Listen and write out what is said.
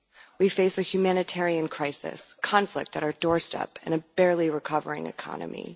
We face a humanitarian crisis, conflict at our doorstep and a barely recovering economy.